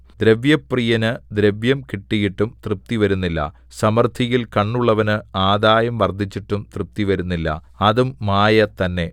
ദ്രവ്യപ്രിയന് ദ്രവ്യം കിട്ടിയിട്ടും തൃപ്തി വരുന്നില്ല സമൃദ്ധിയിൽ കണ്ണുള്ളവന് ആദായം വർദ്ധിച്ചിട്ടും തൃപ്തി വരുന്നില്ല അതും മായ തന്നെ